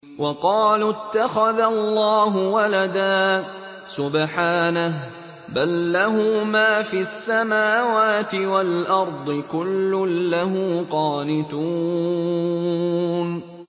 وَقَالُوا اتَّخَذَ اللَّهُ وَلَدًا ۗ سُبْحَانَهُ ۖ بَل لَّهُ مَا فِي السَّمَاوَاتِ وَالْأَرْضِ ۖ كُلٌّ لَّهُ قَانِتُونَ